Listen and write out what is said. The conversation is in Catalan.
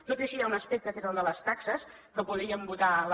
tot i així hi ha un aspecte que és el de les taxes que podríem votar la